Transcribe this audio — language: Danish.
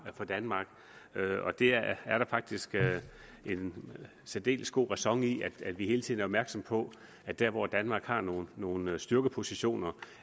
for danmark og der er faktisk særdeles god ræson i at vi hele tiden er opmærksomme på at der hvor danmark har nogle nogle styrkepositioner